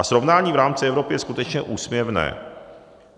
A srovnání v rámci Evropy je skutečně úsměvné.